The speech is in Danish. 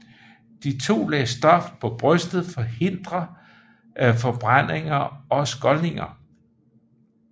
De to lag stof på brystet forhindrer forbrændinger og skoldninger